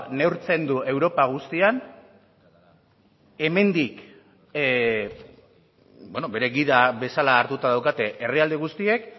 neurtzen du europa guztian hemendik bere gida bezala hartuta daukate herrialde guztiek